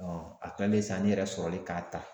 a kilalen sa ne yɛrɛ sɔrɔlen ka ta.